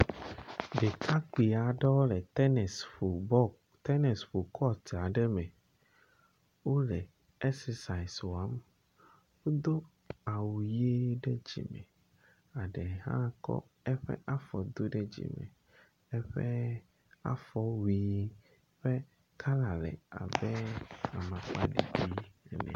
Ɖekakpui aɖewo le tenisi ƒom tenisi bɔlu ƒom le kɔti aɖe me. Wole exercise wɔm. Wodo awu ʋi ɖe dzime, aɖe hã kɔ eƒe afɔ do ɖe dzime. Eƒe afɔwui ƒe kala le abe amŋkpaɖiɖi ene.